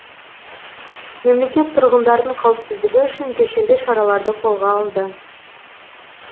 мемлекет тұрғындардың қауіпсіздігі үшін кешенді шараларды қолға алды